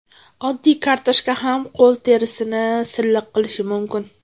Oddiy kartoshka ham qo‘l terisini silliq qilishi mumkin.